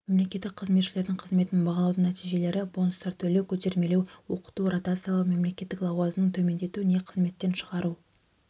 мемлекеттік қызметшілердің қызметін бағалаудың нәтижелері бонустар төлеу көтермелеу оқыту ротациялау мемлекеттік лауазымын төмендету не қызметтен шығару